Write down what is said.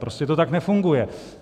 Prostě to tak nefunguje.